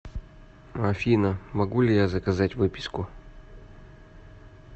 афина могу ли я заказать выписку